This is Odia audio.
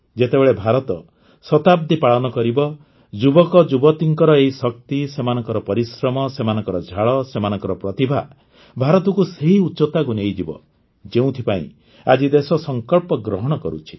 ଯେତେବେଳେ ଭାରତ ଶତାବ୍ଦୀ ପାଳନ କରିବ ଯୁବକଯୁବତୀଙ୍କ ଏହି ଶକ୍ତି ସେମାନଙ୍କର ପରିଶ୍ରମ ସେମାନଙ୍କ ଝାଳ ସେମାନଙ୍କ ପ୍ରତିଭା ଭାରତକୁ ସେହି ଉଚ୍ଚତାକୁ ନେଇ ଯିବ ଯେଉଁଥିପାଇଁ ଆଜି ଦେଶ ସଙ୍କଳ୍ପ ଗ୍ରହଣ କରୁଛି